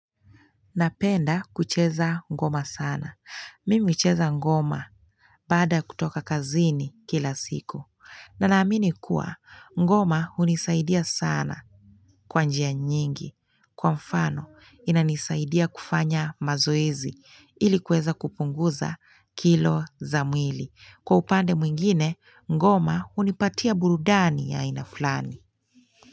Napenda kucheza ngoma sana. Mimi cheza ngoma baada a kutoka kazini kila siku. Na naamini kuwa ngoma hunisaidia sana kwa njia nyingi. Kwa mfano, inanisaidia kufanya mazoezi ilikuweza kupunguza kilo za mwili. Kwa upande mwingine, ngoma unipatia burudani ya haina fulani.